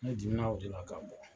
Ne dimi na o de la k'a bɔ